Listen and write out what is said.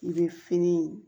I bɛ fini